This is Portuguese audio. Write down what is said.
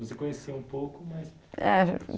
Você conhecia um pouco, mais... Eh